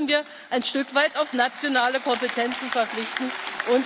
Auch hier müssen wir ein Stück weit auf nationale Kompetenzen verzichten und